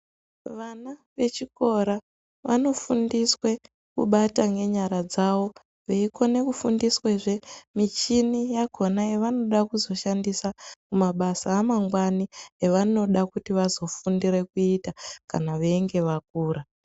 Vana vechikora vanofundiswa kubata ngenyara dzavo veikone kufundswezve muchini yakona yanoda kuzoshandisa mabasa amangwana avanoda kuzofundira kuita kana veinge vakura.